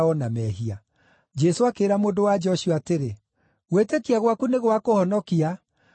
Jesũ akĩĩra mũndũ-wa-nja ũcio atĩrĩ, “Gwĩtĩkia gwaku nĩ gwakũhonokia; thiĩ na thayũ.”